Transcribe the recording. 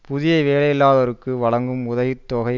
புதிய வேலையில்லாதோருக்கு வழங்கும் உதவி தொகை